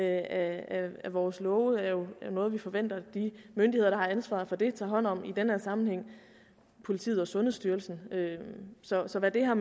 af vores love er jo noget vi forventer at de myndigheder der har ansvaret for det tager hånd om i den her sammenhæng politiet og sundhedsstyrelsen så hvad det har